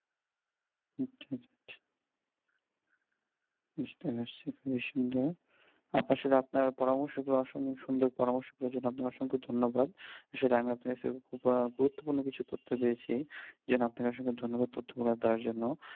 বুঝতে পারছে খুবই সুন্দর আপনার সাথে আপনার পরামর্শ সুন্দর পরামর্শ করার জন্য আপনাকে অসংখ্য ধন্যবাদ আসলে আপনার কাছে গুরুত্বপূর্ণ তথ্য পেয়েছি এই জন্য আপনাকে অসংখ্য ধন্যবাদ তথ্যগুলো দেওয়ার জন্য